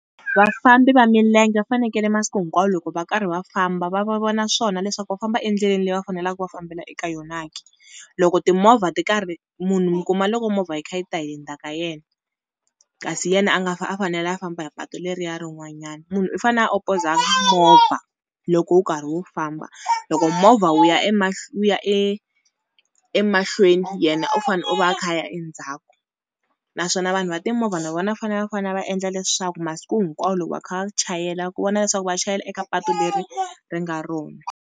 Vafambi va milenge va fanekele masiku hinkwawo loko va karhi va famba va va vona swona leswaku va famba endleleni leyi va faneleke ku va fambela eka yona ke. Loko timovha ti karhi munhu mi kuma loko movha yi kha yi ta hi le ndzhaka ka yena, kasi yena a nga a fanele a famba hi patu leriya rin'wanyana. Munhu u fanele a opoza movha loko wu karhi wu famba, loko movha wu ya wu ya e emahlweni yena u fane u va a kha a ya endzhaku. Naswona vanhu va timovha na vona a fane va fane va endla leswaku masiku hinkwawo loko va kha va chayela ku vona leswaku va chayela eka patu leri ri nga rona.